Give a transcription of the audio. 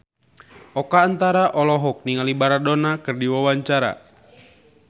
Oka Antara olohok ningali Maradona keur diwawancara